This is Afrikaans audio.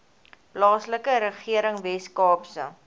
plaaslike regering weskaapse